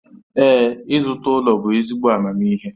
Ee, ịzụta ụlọ bụ ezigbo amamihe